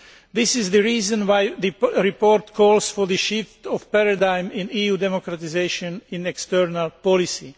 This is the reason why the report calls for the shift of paradigm in EU democratisation in external policy.